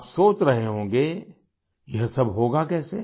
आप सोच रहे होंगे यह सब होगा कैसे